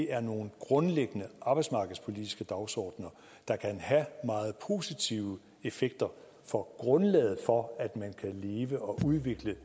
er nogle grundlæggende arbejdsmarkedspolitiske dagsordener der kan have meget positive effekter for grundlaget for at man kan leve og udvikle